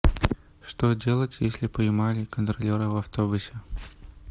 что делать если поймали контролеры в автобусе